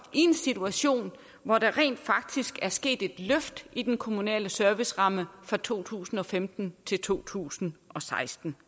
en situation hvor der rent faktisk er sket et løft i den kommunale serviceramme fra to tusind og femten til to tusind og seksten